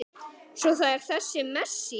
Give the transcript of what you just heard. Svo er það þessi Messi.